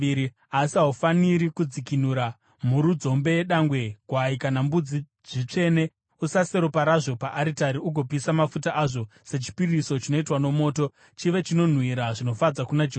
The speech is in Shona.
“Asi haufaniri kudzikinura mhuru nzombe yedangwe, gwai kana mbudzi, zvitsvene. Usase ropa razvo paaritari ugopisa mafuta azvo sechipiriso chinoitwa nomoto, chive chinonhuhwira zvinofadza kuna Jehovha.